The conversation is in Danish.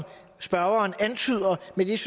vil der